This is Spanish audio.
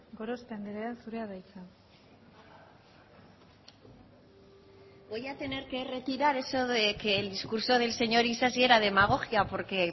gorospe andrea zurea da hitza voy a tener que retirar eso de que el discurso del señor isasi era demagogia porque